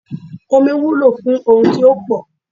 Omí wúlò fún ohun tí ó pò